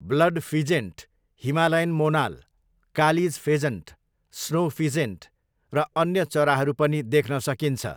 Blood pheasant, Himalayan monal, kalij pheasant, snow pheasant र अन्य चराहरू पनि देख्न सकिन्छ।